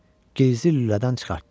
Gizdi lülədən çıxartdı.